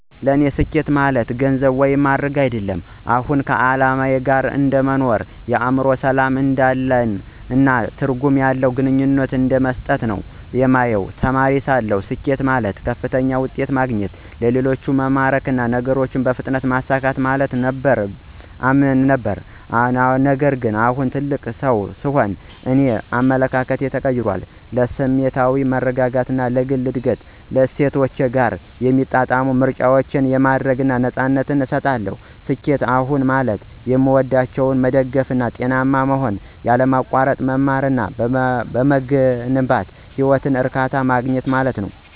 ለእኔ ስኬት ከአሁን በኋላ ስለ ገንዘብ፣ ደረጃ ወይም ማዕረግ አይደለም። አሁን ከዓላማ ጋር እንደ መኖር፣ የአእምሮ ሰላም እንዳለን፣ እና ትርጉም ያለው ግንኙነትን እንደመጠበቅ ነው የማየው። ተማሪ ሳለሁ፣ ስኬት ማለት ከፍተኛ ውጤት ማግኘት፣ ሌሎችን መማረክ እና ነገሮችን በፍጥነት ማሳካት ማለት ነው ብዬ አምን ነበር። ነገር ግን እንደ ትልቅ ሰው, የእኔ አመለካከት ተቀይሯል. ለስሜታዊ መረጋጋት፣ ለግል እድገት እና ከእሴቶቼ ጋር የሚጣጣሙ ምርጫዎችን የማድረግ ነፃነትን እሰጣለሁ። ስኬት አሁን ማለት የሚወዷቸውን መደገፍ፣ ጤናማ መሆን፣ ያለማቋረጥ መማር እና በምገነባው ህይወት እርካታ ማግኘት ማለት ነው።